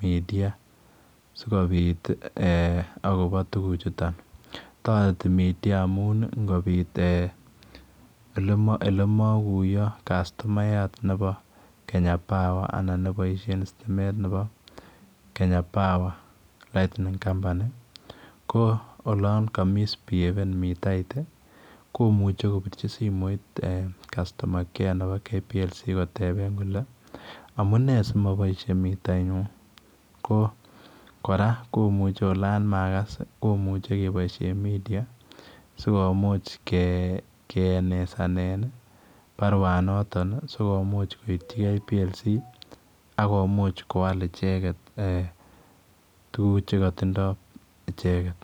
media sikobiit ii eeh agobo tuguuk chutoon taretii media amuun ingobiit eeh ele makuyaa customayat ab Kenya power anan nebo Kenya Power Lightning Company ko olaan ka misbihaven mitait ii komuchei korbirji simoit customer care nebo Kenya Power Lightning Company kotebeen kole amunei simaboisie mitait nyuun kora olaan magas kemuchei kebaisheen media sikomuuch ke enezanen ii baruet notoon sikomuuch koityigei Kenya Power Lightning Company ak komuuch kowal ichegeet tuguuk che kotindoi ichegeet.